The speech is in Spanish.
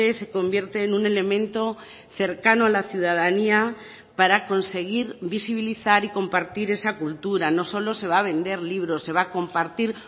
se convierte en un elemento cercano a la ciudadanía para conseguir visibilizar y compartir esa cultura no solo se va a vender libros se va a compartir